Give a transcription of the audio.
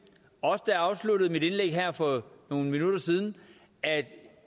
også da jeg afsluttede mit indlæg her for nogle minutter siden at